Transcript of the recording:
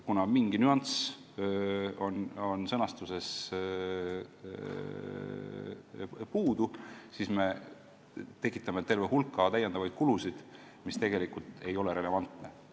Kuna sõnastuses on mingi nüanss puudu, siis me tekitame terve hulga täiendavaid kulusid, mis ei ole antud juhul relevantne.